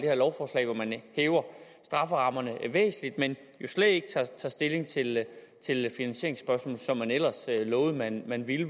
her lovforslag hvor man hæver strafferammerne væsentligt men jo slet ikke tager stilling til finansieringsspørgsmål som man ellers lovede man ville